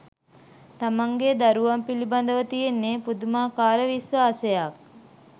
තමන්ගෙ දරුවන් පිළිබදව තියෙන්නෙ පුදුමාකාර විශ්වාසයක්.